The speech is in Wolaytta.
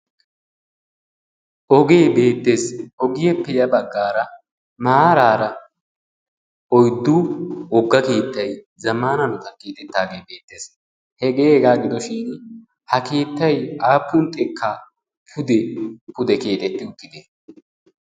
Ogee beetees ogiyappe ya baggaara maaraara oyddu wogga keettay zammaana hanotan keexettaagee beettees. Hegee hegaa gidoshin ha keettay aappun xekkaa pude pude keexetti uttidee?